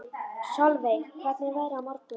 Solveig, hvernig er veðrið á morgun?